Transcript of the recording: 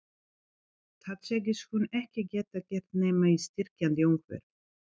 Það segist hún ekki geta gert nema í styrkjandi umhverfi.